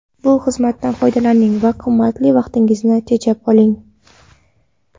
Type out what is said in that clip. Bu xizmatdan foydalaning va qimmatli vaqtingizni tejab qoling.